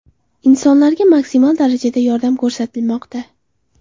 Insonlarga maksimal darajada yordam ko‘rsatilmoqda.